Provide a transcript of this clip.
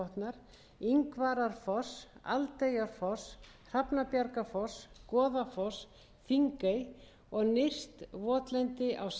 neðribotnar ingvararfoss aldeyjarfoss hrafnabjargarfoss goðafoss þingey og nyrst votlendi á sandi og sílalæk með stórkostlega